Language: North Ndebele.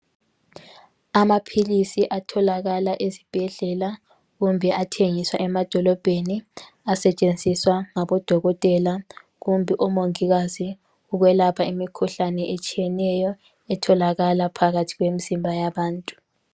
Amaphilisi atholakala ezibhedlela kumbe athengiswa emadolobheni asetshenziswa ngabo dokotela kumbe omongikazi ukwelapha imikhuhlane etshiyeneyo etholakala phakathi kwemizimba yabantu.